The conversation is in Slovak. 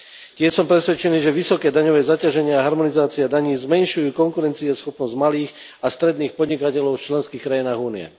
Tiež som presvedčený, že vysoké daňové zaťaženie a harmonizácia daní zmenšujú konkurencieschopnosť malých a stredných podnikateľov v členských krajinách Únie.